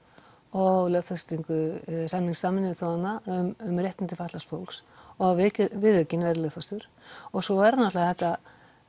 og lögfestingu samnings Sameinuðu þjóðanna um réttindi fatlaðs fólks og að viðaukinn verði lögfestur og svo er náttúrulega þetta